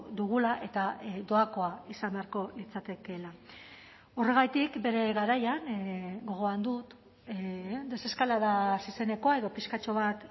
dugula eta doakoa izan beharko litzatekeela horregatik bere garaian gogoan dut deseskalada hasi zenekoa edo pixkatxo bat